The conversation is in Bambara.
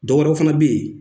Dɔwɛrɛ fana bɛ yen